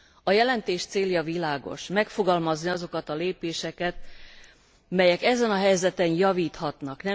A jelentés célja világos megfogalmazni azokat a lépéseket, melyek ezen a helyzeten javíthatnak.